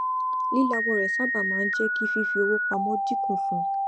lílawọ rẹ sáábà máa ń jẹ kí fífi owó pamọ dínkù fún